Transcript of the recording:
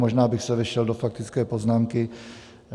Možná bych se vešel do faktické poznámky.